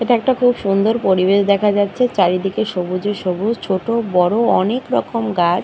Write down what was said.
এটা একটা খুব সুন্দর পরিবেশ দেখা যাচ্ছে। চারিদিকে সবুজে সবুজ। ছোট বড় অনেক রকম গাছ।